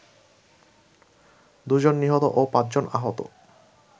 দুজন নিহত ও পাঁচজন আহত